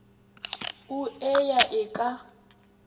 o e ya e ka